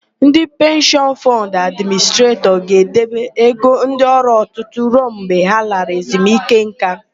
Ndị Penshịọn Fọnd Administretọs ga-edebe ego ndị ọrụ tutu ruo mgbe ha lara ezunike ńká.